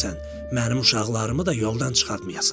Mənim uşaqlarımı da yoldan çıxartmayasan.